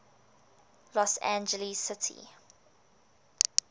los angeles city